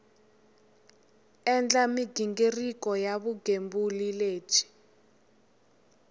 endla mighingiriko ya vugembuli lebyi